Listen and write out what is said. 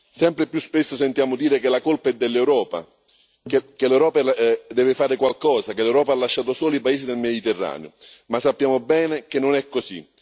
Sempre più spesso sentiamo dire che la colpa è dell'Europa, che l'Europa deve fare qualcosa, che l'Europa ha lasciato soli i paesi del Mediterraneo, ma sappiamo bene che non è così.